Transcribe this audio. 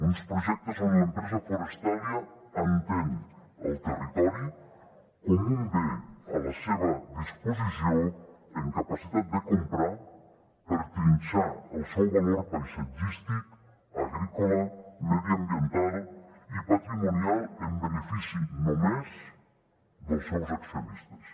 uns projectes on l’empresa forestalia entén el territori com un bé a la seva disposició amb capacitat de comprar per trinxar el seu valor paisatgístic agrícola mediambiental i patrimonial en benefici només dels seus accionistes